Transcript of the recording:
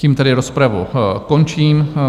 Tím tedy rozpravu končím.